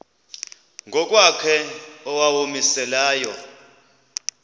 ngokwakhe owawumise layo